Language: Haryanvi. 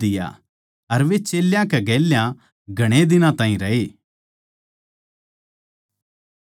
अर वे चेल्यां कै गेल्या घणे दिन ताहीं रए